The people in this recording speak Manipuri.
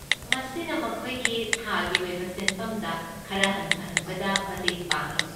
ꯃꯁꯤꯅ ꯃꯈꯣꯏꯒꯤ ꯊꯥꯒꯤ ꯑꯣꯏꯕ ꯁꯦꯟꯐꯝꯗ ꯈꯔ ꯍꯟꯊꯍꯟꯕꯗ ꯃꯇꯦꯡ ꯄꯥꯡꯢ꯫